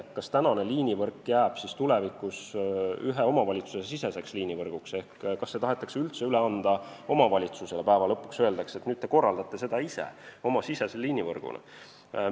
Kas praegune liinivõrk jääb tulevikus ühe omavalitsuse siseseks ehk kas see tahetakse üldse üle anda omavalitsusele, öeldes, et nüüd te korraldate seda ise oma sisemise liinivõrguna?